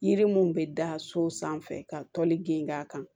Yiri mun bɛ da so sanfɛ ka toli geni k'a kan